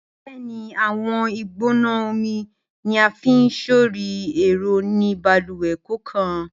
Bẹẹni, awọn igbona omi ni a fi sori ẹrọ ni baluwe kọọkan.